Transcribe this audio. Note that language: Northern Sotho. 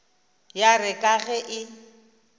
ya re ka ge e